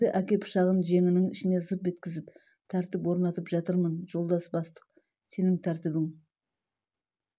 деді әке пышағын жеңнің ішіне зып еткізіп тәртіп орнатып жатырмын жолдас бастық сенің тәртібің